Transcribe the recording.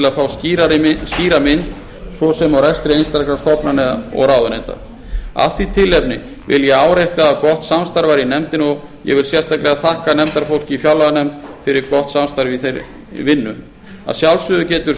að fá skýra mynd svo sem á rekstri einstakra stofnana og ráðuneyta af því tilefni vil ég árétta að gott samstarf var í nefndinni og ég vil sérstaklega þakka nefndarfólki í fjárlaganefnd fyrir gott samstarf í þeirri vinnu að sjálfsögðu getur stjórn